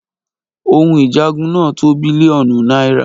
òhun ìjagun náà tó bílíọ̀nù náírà